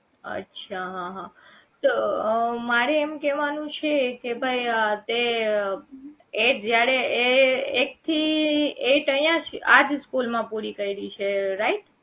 અચ્છા હા હા તો મારે એમ કહેવાનું છે કે ભાઈ એ અર તે એ જયારે એ એક થી eight અહીંયા જ આજ સ્કૂલ માં પુરી કરી છે right